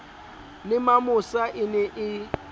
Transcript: le mamosa e ne e